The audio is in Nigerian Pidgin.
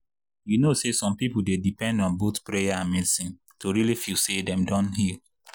you know say some people dey depend on both prayer and medicine to really feel say dem don heal.